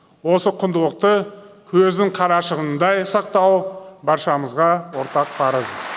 осы құндылықты көздің қарашығындай сақтау баршамызға ортақ парыз